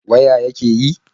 Waya yake yi?